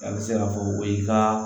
A bɛ se k'a fɔ o ye ka